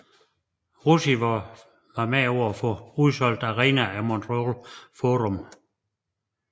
Roussimoff var med til at få udsolgte arenaer i Montreal Forum